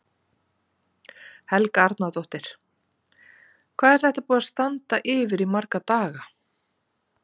Helga Arnardóttir: Hvað er þetta búið að standa yfir í marga daga?